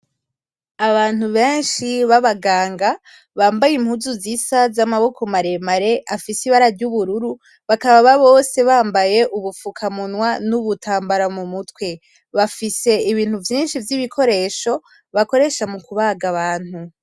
Abantu benshi b'abaganga bambaye impuzu zisa z'amaboko maremare afise ibara ry'ubururu, bakaba bose bambaye ubufukamunwa n'ubutambara mu mutwe, bafise ibintu vyinshi vy'ibikoresho bakoresha mu kubaga abantu.